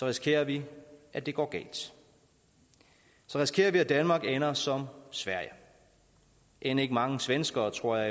risikerer vi at det går galt så risikerer vi at danmark ender som sverige end ikke mange svenskere tror jeg